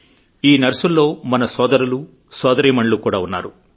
ఈ నర్సుల్లో మన సోదరులు సోదరీమణులు కూడా ఉన్నారు